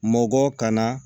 Mɔkɔ ka na